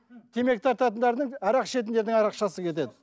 темекі тартатындардың арақ ішетіндердің кетеді